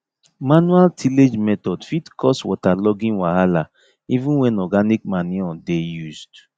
manual tillage method fit cause waterlogging wahala even when organic manure dey used